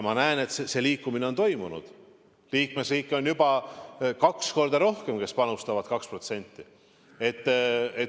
Ma näen, et see liikumine on toimunud, liikmesriike, kes panustavad 2%, on juba kaks korda rohkem.